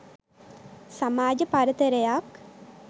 සමාජ පරතරයක්